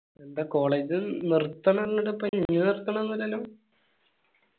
ന്താ college നിർത്തല്ലല്ലോ